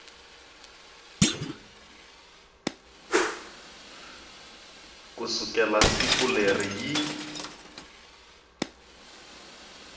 ku sukela siku leri yi